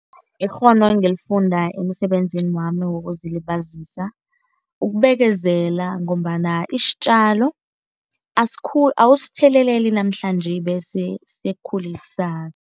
Ikghono engilifunda emsebenzini wami wokuzilibazisa ukubekezela ngombana isitjalo awusitheleli namhlanje bese sikhule kusasa.